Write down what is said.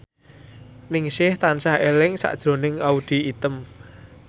Ningsih tansah eling sakjroning Audy Item